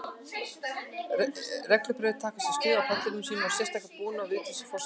Reglubræður taka sér stöðu á pallinum í sínum sérstæða búningi og Vigdís forseti hjá.